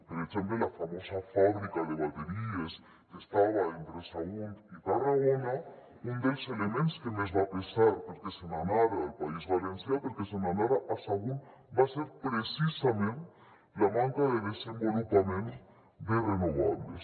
per exemple la famosa fàbrica de bateries que estava entre sagunt i tarragona un dels elements que més va pesar perquè se n’anara al país valencià perquè se n’anara a sagunt va ser precisament la manca de desenvolupament de renovables